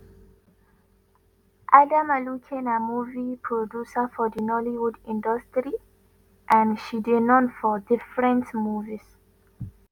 adanma luke na movie producer for di nollywood industry and she dey known for different movies